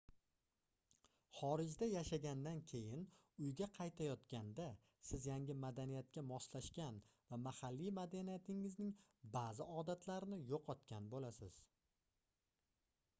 xorijda yashagandan keyin uyga qaytayotganda siz yangi madaniyatga moslashgan va mahalliy madaniyatingizning baʼzi odatlarini yoʻqotgan boʻlasiz